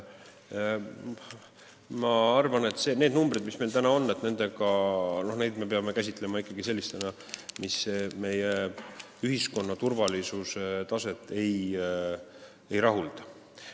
Ma arvan, et neid numbreid, mis meil täna on, me peame käsitlema ikkagi sellistena, et need meid meie ühiskonna turvalisuse taseme mõttes ei rahulda.